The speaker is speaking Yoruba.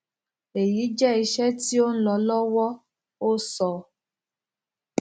eyi jẹ iṣẹ ti o nlọ lọwọ o sọ